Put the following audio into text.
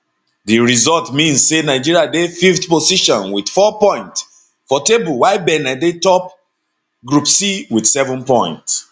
di result mean say nigeria dey fifth position wit four points for table while benin dey top group c wit seven points